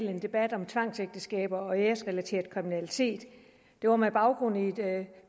en debat om tvangsægteskaber og æresrelateret kriminalitet det var med baggrund i et